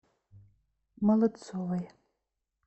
молодцовой